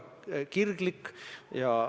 Aitäh!